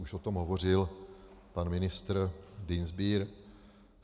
Už o tom hovořil pan ministr Dienstbier.